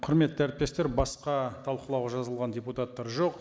құрметті әріптестер басқа талқылау жазылған депутаттар жоқ